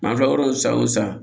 N'an filɛ yɔrɔ min san o san